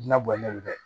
Na bɔlen do dɛ